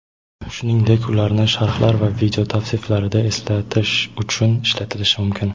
shuningdek ularni sharhlar va video tavsiflarida eslatish uchun ishlatilishi mumkin.